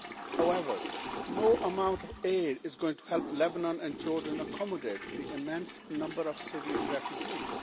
However, no amount of aid is going to help Lebanon and Jordan accommodate the immense number of Syrian refugees.